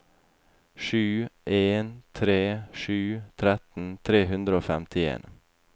sju en tre sju tretten tre hundre og femtien